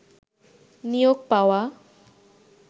নিয়োগ পাওয়া